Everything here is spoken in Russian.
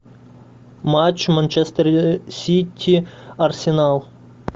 матч манчестер сити арсенал